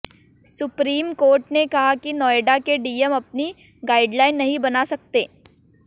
supreme court ने कहा कि नोएडा के डीएम अपनी गाइडलाइन नहीं बना सकते